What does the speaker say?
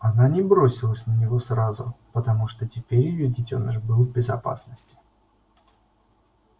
она не бросилась на него сразу потому что теперь её детёныш был в безопасности